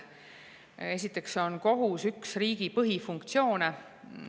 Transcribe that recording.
Esiteks kohus üht riigi põhifunktsiooni.